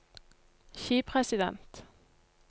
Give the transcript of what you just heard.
skipresident